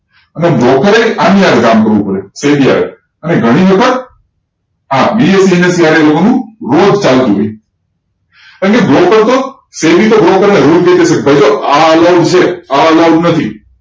અને broker એ આની સાથે કામ કરવું પડે SEBI સાથે અને ઘણી વખત આ BSE નું રોજ ચાલતું હોય કેમકે broker તો SEBI તો broker ને કે છે ભાઈ જો આ આવું છે આવું આવું નથી